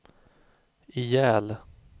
ihjäl